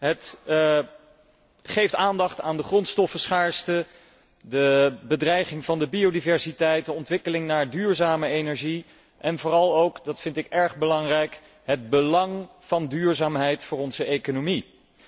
Het geeft aandacht aan de grondstoffenschaarste, de bedreiging van de biodiversiteit, de ontwikkeling naar duurzame energie, en vooral ook dat vind ik erg belangrijk het belang van duurzaamheid voor onze economie.